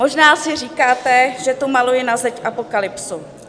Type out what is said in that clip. Možná si říkáte, že tu maluji na zeď apokalypsu.